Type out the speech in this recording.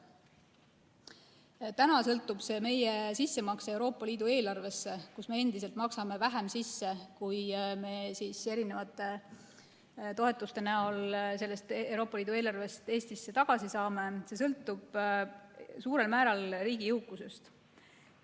Praegu sõltub meie sissemakse Euroopa Liidu eelarvesse, kuhu me endiselt maksame vähem sisse, kui me toetuste näol Eestisse tagasi saame, suurel määral riigi jõukusest.